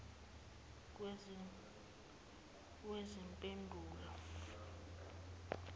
wezempilo